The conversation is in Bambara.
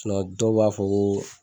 dɔw b'a fɔ ko